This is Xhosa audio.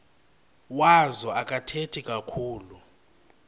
wazo akathethi kakhulu